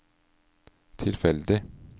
tilfeldig